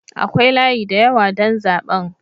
Akwai layi da yawa don zaben.